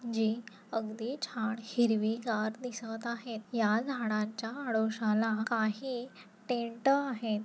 जी अगदी छान हिरवीगार दिसत आहेत या झाडाच्या आडोश्याला काही टेंट आहे.